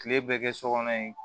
Kile bɛɛ kɛ sokɔnɔ yen